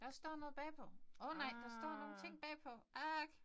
Der står noget bagpå. Åh nej der står nogle ting bagpå ah